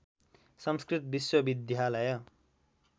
संस्कृत विश्वविद्यालय